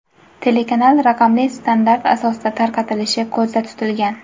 Telekanal raqamli standart asosida tarqatilishi ko‘zda tutilgan.